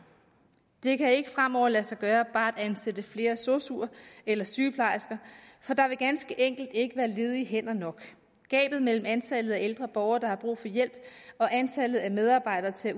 det kan ikke fremover lade sig gøre bare at ansætte flere sosuer eller sygeplejersker for der vil ganske enkelt ikke være ledige hænder nok gabet mellem antallet af ældre borgere der har brug for hjælp og antallet af medarbejdere til at